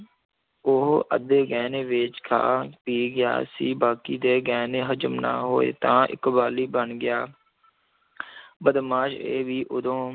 ਉਹ ਅੱਧੇ ਗਹਿਣੇ ਵੇਚ ਖਾ ਪੀ ਗਿਆ ਸੀ ਬਾਕੀ ਦੇ ਗਹਿਣੇ ਹਜ਼ਮ ਨਾ ਹੋਏ ਤਾਂ ਇਕਵਾਲੀ ਬਣ ਗਿਆ ਬਦਮਾਸ਼ ਇਹ ਵੀ ਉਦੋਂ